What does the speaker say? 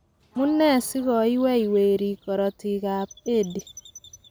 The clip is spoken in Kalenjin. Amu nee si koiwei werik korotikab edi?